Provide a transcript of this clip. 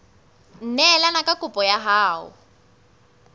neelane ka kopo ya hao